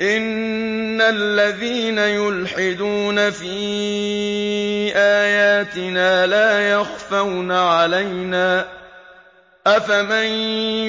إِنَّ الَّذِينَ يُلْحِدُونَ فِي آيَاتِنَا لَا يَخْفَوْنَ عَلَيْنَا ۗ أَفَمَن